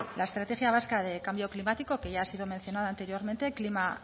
la estrategia vasca de cambio climático que ya ha sido mencionada anteriormente clima